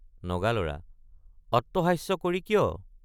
নগালৰা— অট্টহাস্য কৰি কিয়?